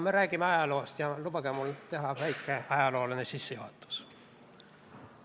Me räägime ajaloost ja lubage mul teha väike ajalooline sissejuhatus.